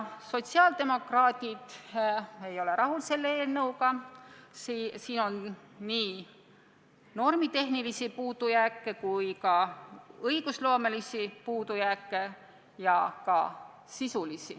Sotsiaaldemokraadid ei ole selle eelnõuga rahul, selles on nii normitehnilisi, õigusloomelisi kui ka sisulisi puudujääke.